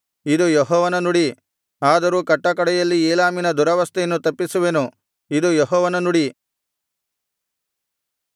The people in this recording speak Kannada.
ಇದು ಯೆಹೋವನ ನುಡಿ ಆದರೂ ಕಟ್ಟಕಡೆಯಲ್ಲಿ ಏಲಾಮಿನ ದುರವಸ್ಥೆಯನ್ನು ತಪ್ಪಿಸುವೆನು ಇದು ಯೆಹೋವನ ನುಡಿ